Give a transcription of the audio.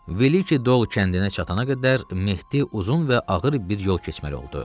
Veliçi Dol kəndinə çatana qədər Mehdi uzun və ağır bir yol keçməli oldu.